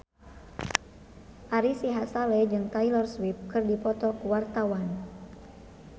Ari Sihasale jeung Taylor Swift keur dipoto ku wartawan